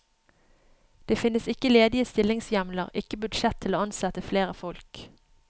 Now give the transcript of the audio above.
Det finnes ikke ledige stillingshjemler, ikke budsjett til å ansette flere folk.